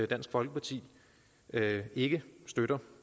dansk folkeparti ikke støtter